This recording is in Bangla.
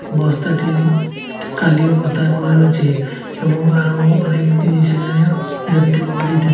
বস্তাটি একটি এবং আরও অনেক জিনিস এখানে দেখতে পাওয়া যাইতেসে।